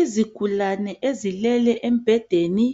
Izigulane ezilele embhedeni